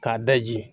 K'a daji